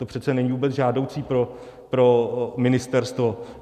To přece není vůbec žádoucí pro ministerstvo.